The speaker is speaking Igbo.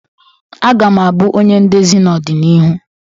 A ga m abụ onye ndezi na-odina ihụ